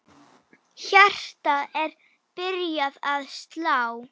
Hjartað er byrjað að slá.